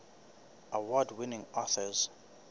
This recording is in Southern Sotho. award winning authors